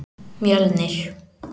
Mjölnir